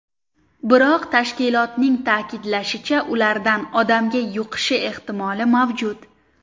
Biroq, tashkilotning ta’kidlashicha, ulardan odamga yuqishi ehtimoli mavjud.